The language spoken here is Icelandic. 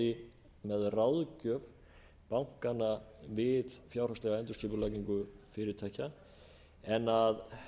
aðstoði með ráðgjöf bankana við fjárhagslega endurskipulagning fyrirtækja en að